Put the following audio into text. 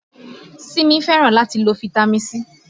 Simi fẹ́ràn láti lá fitami C